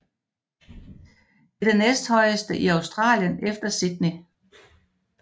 Det er det næsthøjeste i Australien efter Sydney